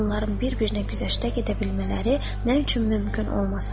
Onların bir-birinə güzəştə gedə bilmələri nə üçün mümkün olmasın?